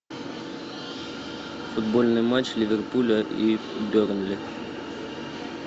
футбольный матч ливерпуля и бернли